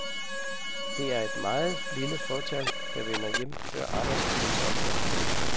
Det er et meget lille fåtal, der vender hjem før arbejdstidens ophør.